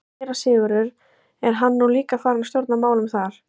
SÉRA SIGURÐUR: Er hann nú líka farinn að stjórna málum þar?